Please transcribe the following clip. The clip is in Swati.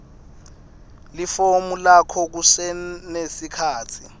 lifomu lakho kusenesikhatsi